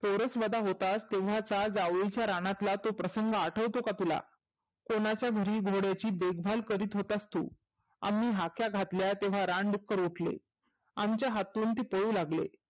पोर स्वतः होतास तेव्हा जावळीतल्या राणातला तो प्रसंग आठवतो का तुला? कोणाच्या घरी घोड्याची देखभाल करित होतास तु. आम्ही हाक्या घातल्या तेव्हा रानडुक्कर उठले आमच्या हातून ते पळू लागले.